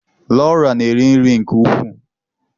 Laura na-eri nri nke ukwuu.